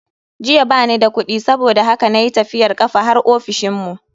Jiya bani da kudi saboda haka na yi tafiyar kafa har ofishinmu.